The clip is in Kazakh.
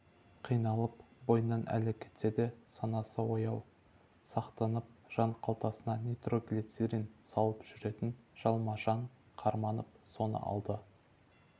қиналып бойынан әлі кетсе де санасы ояу сақтанып жанқалтасына нитроглицерин салып жүретін жалма-жан қарманып соны алды